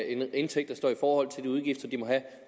en indtægt der står i forhold til de udgifter de må have